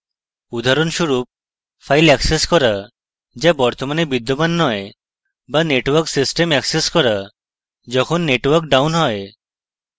উদাহরণস্বরূপ: file access করা যা বর্তমানে বিদ্যমান নয় বা network system অ্যাক্সেস করা যখন network down হয়